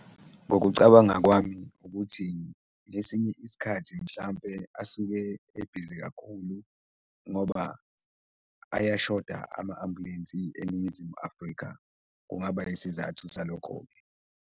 Ngokucabanga kwami ukuthi ngesinye isikhathi mhlawumbe asuke ebhizi kakhulu ngoba ayashoda ama-ambulensi eNingizimu Afrika, kungaba isizathu salokho-ke.